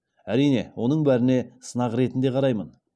әрине оның бәріне сынақ ретінде қараймын